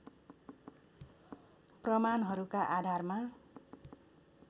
प्रमाणहरूका आधारमा